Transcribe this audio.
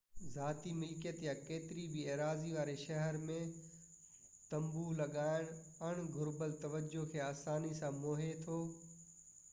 ذاتي ملڪيت يا ڪيتري بہ ايراضي واري شهر ۾ تنبو لڳائڻ اڻ گهربل توجہ کي آساني سان موهي ٿو